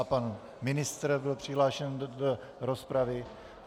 A pan ministr byl přihlášen do rozpravy.